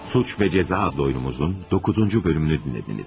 Suç və Cəza adlı oyunumuzun 9-cu bölümünü dinlədiniz.